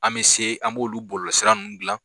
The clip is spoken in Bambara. An bɛ se an b'olu bɔlɔlɔsira ninnu dilan